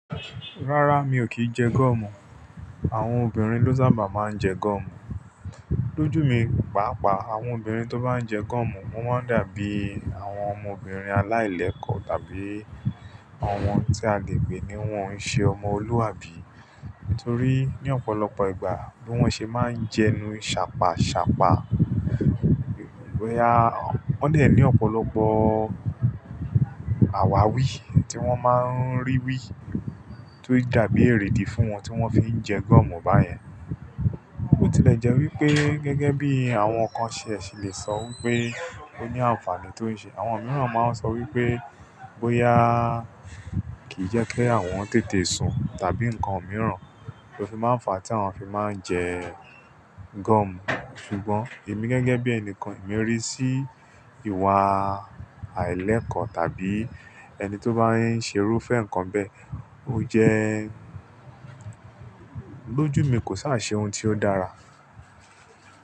Rárá, mi ò kí ń jẹ gum. Àwọn obìnrin ló sábà máa ń jẹ gum. Lójú mi, pàápàá àwọn obìnrin tó bá ń jẹ gum, wọ́n máa dàbí àwọn ọmọbìnrin aláìlẹ̀kọ́ tàbí àwọn tí a le gbè ní wọ́n ń ṣe ọmọ olúàbí. Nítorí ní ọ̀pọ̀lọpọ̀ ìgbà bí wọ́n ṣe máa ń jẹnu ṣàpaṣàpa. Wọ́n lè ní ọ̀pọ̀lọpọ̀ àwàwí tí wọ́n máa ń rí wí, tó dàbí èrèdí fún wọn tí wọ́n fi ń jẹ gum báyẹn. Ó tilẹ̀ jẹ́ wí pé gẹ́gẹ́ bí àwọn kan ṣẹ̀ ṣì lè sọ wí pé ó ní àǹfààní tó ń ṣe. Àwọn mìíràn máa ń sọ wí pé bóyá kì í jẹ́ kí àwọn tètè sun tàbí nǹkan mìíràn tó fi máa ń fa tí àwọn fi máa ń jẹ gum. Ṣùgbọ́n èmi gẹ́gẹ́ bí ẹnìkan, èmi ríi sí ìwà àìlẹ̀kọ́ tàbí ẹni tó bá ń ṣerú fẹ́ nǹkan bẹ́ẹ̀, ó jẹ́ lójú mi kò sá ṣe ohun tí ó dára.